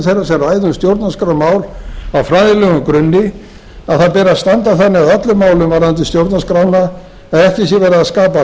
þeirra sem ræða um stjórnarskrármál á fræðilegum grunni að það beri að standa þannig að öllum málum varðandi stjórnarskrána að ekki sé verið að skapa